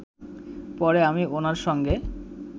পরে আমি ওনার সঙ্গে